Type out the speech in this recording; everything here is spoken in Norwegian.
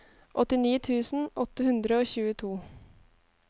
åttini tusen åtte hundre og tjueto